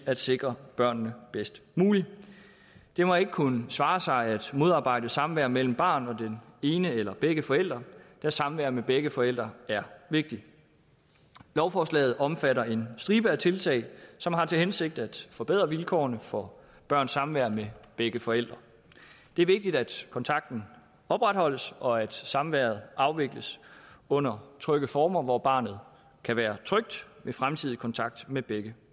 at sikre børnene bedst muligt det må ikke kunne svare sig at modarbejde samvær mellem barnet og den ene eller begge forældre da samvær med begge forældre er vigtigt lovforslaget omfatter en stribe tiltag som har til hensigt at forbedre vilkårene for børns samvær med begge forældre det er vigtigt at kontakten opretholdes og at samværet afvikles under trygge former hvor barnet kan være trygt ved fremtidig kontakt med begge